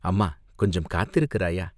"அம்மா கொஞ்சம் காத்திருக்கிறாயா?